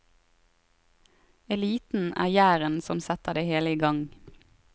Eliten er gjæren som setter det hele i gang.